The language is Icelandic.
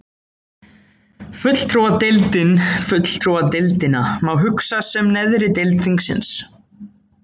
Fulltrúadeildin Fulltrúadeildina má hugsa sem neðri deild þingsins.